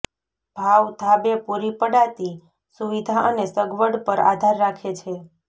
ભાવ ધાબે પૂરી પડાતી સુવિધા અને સગવડ પર આધાર રાખે છે